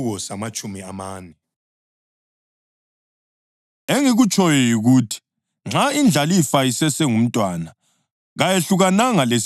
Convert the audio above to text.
Engikutshoyo yikuthi nxa indlalifa isesengumntwana, kayehlukananga lesigqili lanxa nje ingumnikazi welifa lonke.